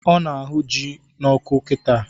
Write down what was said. Ọ na ahụ ji n'ọkụ kịta